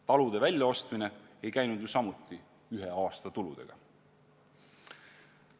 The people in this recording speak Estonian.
Talude väljaostmine ei käinud ju samuti ühe aasta tulude abil.